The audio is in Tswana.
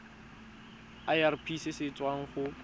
irp se se tswang go